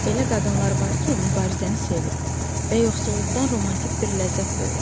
Elə qadınlar var ki, mübarizəni sevir və yoxsulluqdan romantik bir ləzzət duyurlar.